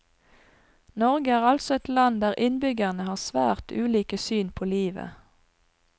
Norge er altså et land der innbyggerne har svært ulike syn på livet.